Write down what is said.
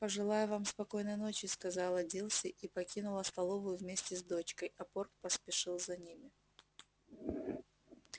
пожелаю вам спокойной ночи сказала дилси и покинула столовую вместе с дочкой а порк поспешил за ними